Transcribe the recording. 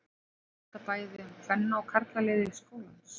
Á þetta bæði við um kvenna- og karlalið skólans.